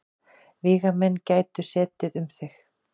Vígamenn gætu setið um þig.